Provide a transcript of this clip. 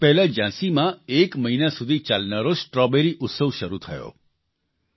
થોડા દિવસ પહેલાં ઝાંસીમાં એક મહિના સુધી ચાલનારો સ્ટ્રોબેરી ઉત્સવ શરૂ થયો